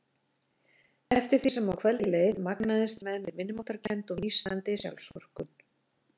Eftir því sem á kvöldið leið magnaðist með mér minnimáttarkennd og nístandi sjálfsvorkunn.